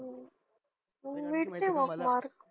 हम्म मिळतील मग mark